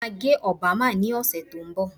Mo máa gẹ Obama ní ọ̀sẹ̀ tó ń bọ̀